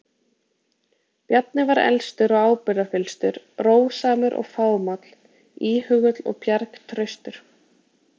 Bjarni var elstur og ábyrgðarfyllstur, rósamur og fámáll, íhugull og bjargtraustur.